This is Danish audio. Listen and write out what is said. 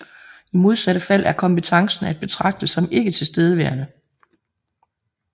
I modsatte fald er kompetencen at betragte som ikke tilstedeværende